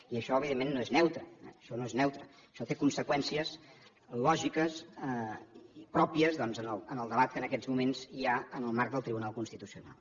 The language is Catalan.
i això evidentment no és neutre això no és neutre això té conseqüències lògiques pròpies doncs en el debat que en aquests moments hi ha en el marc del tribunal constitucional